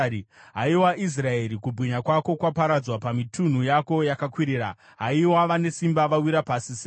“Haiwa Israeri, kubwinya kwako kwaparadzwa pamitunhu yako yakakwirira. Haiwa, vane simba wawira pasi sei!